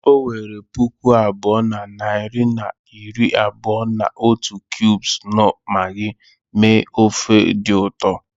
O were puku abụọ na narị na iri abụọ na otu cubes knorr Maggi mee ofe dị ụtọ